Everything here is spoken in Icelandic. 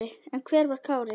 En hver var Kári?